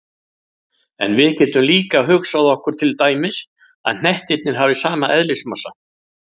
En við getum líka hugsað okkur til dæmis að hnettirnir hafi sama eðlismassa.